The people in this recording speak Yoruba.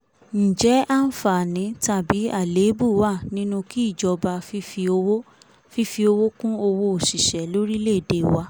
ǹjẹ́ àǹfààní tàbí àléébù wa nínú kí ìjọba fífi owó fífi owó kún owó òṣìṣẹ́ lórílẹ̀ èdè wa